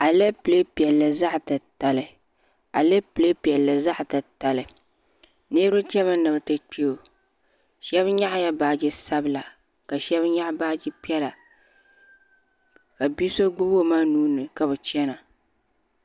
Alapilee piɛlli zaɣi ti tali alapilee piɛlli zaɣi ti tali niriba chɛni mi ni biri kpɛ o shɛ nyɛɣi la baaji sabila ka shɛb nyɛɣi baaji piɛlla ka bi so gbubi o ma nuu ni ka bi chɛna